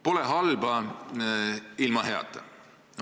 Pole halba ilma heata.